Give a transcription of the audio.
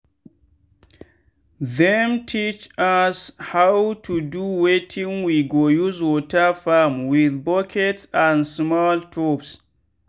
them teach us how to do wetin we go use water farm with buckets and small tubes.